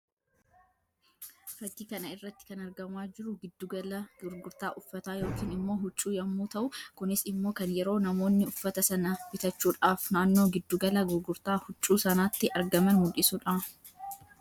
Fakkii kana irratti kan argamaa jiruu guddi gala gurgurtaa uffataa yookiin immoo huccuu yammuu tahuu kunis immoo kan yeroo namoonni uffata sana bitachuudhaaf naannoo giddu gala gurgurtaa huccuu sanaatti argaman mullisuu dha.